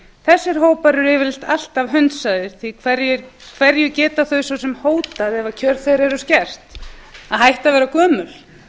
þessir hópar eru yfirleitt alltaf hunsaðir því hverju geta þau svo sem hótað ef kjör þeirra eru sker að hætta að vera gömul